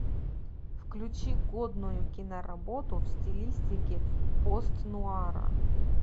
включи годную киноработу в стилистике пост нуара